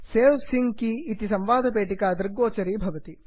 सवे sync key इति संवादपेटिका दृग्गोचरी भवति